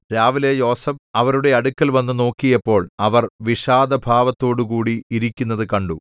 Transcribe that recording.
രാവിലെ യോസേഫ് അവരുടെ അടുക്കൽ വന്നു നോക്കിയപ്പോൾ അവർ വിഷാദ ഭാവത്തോടുകൂടി ഇരിക്കുന്നത് കണ്ടു